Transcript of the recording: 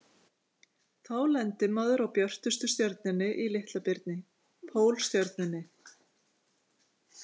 Þá lendir maður á björtustu stjörnunni í Litla-birni, Pólstjörnunni.